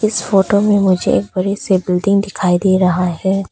इस फोटो में मुझे एक बड़ी सी बिल्डिंग दिखाई दे रहा है।